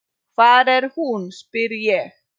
Hvar er hún, spyr ég.